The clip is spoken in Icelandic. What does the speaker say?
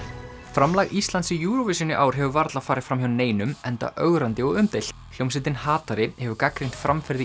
framlag Íslands í Eurovision í ár hefur varla farið fram hjá neinum enda ögrandi og umdeilt hljómsveitin hatari hefur gagnrýnt framferði